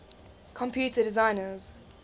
computer designers